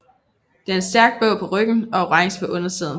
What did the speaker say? Den er stærkt blå på ryggen og orange på undersiden